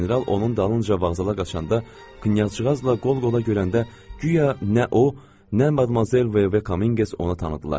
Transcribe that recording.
General onun dalınca vağzala qaçanda, knyazcığazla qol-qola görəndə, guya nə o, nə madmazel Vove Kaminqes ona tanıdılar.